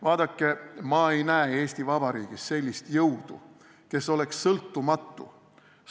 Vaadake, ma ei näe Eesti Vabariigis sellist jõudu, kes oleks sõltumatu.